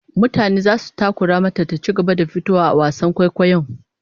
Mutane zasu takura mata ta ci gaba da fitowa a wasan kwaikwayon